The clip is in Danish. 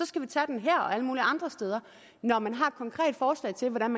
skal vi tage den her og alle mulige andre steder når man har et konkret forslag til hvordan